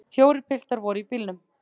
Fjórir piltar voru í bílnum.